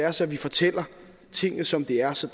os at vi fortæller tingene som de er så